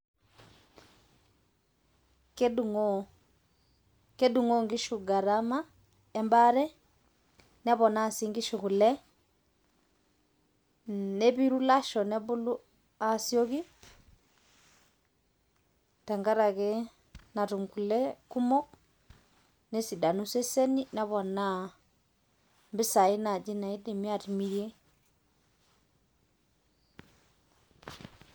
kedungoo kedungoo nkishu ngarama embaare neponaa sii kule nepiru ilasho nebulu asioki tenkaraki natum kule kumok nesidanu iseseni mpisai naji naidimi atimirie